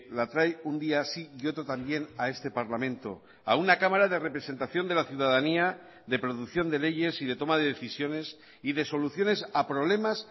la trae un día sí y otro también a este parlamento a una cámara de representación de la ciudadanía de producción de leyes y de toma de decisiones y de soluciones a problemas